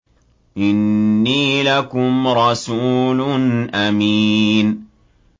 إِنِّي لَكُمْ رَسُولٌ أَمِينٌ